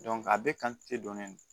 a bɛɛ kan te dɔnnen don